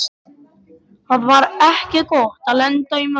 Það var ekki gott að lenda í mömmu